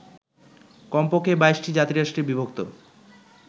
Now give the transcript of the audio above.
কমপক্ষে ২২টি জাতিরাষ্ট্রে বিভক্ত